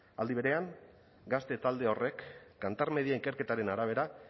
aldi berean gazte talde horrek kantar media ikerketaren arabera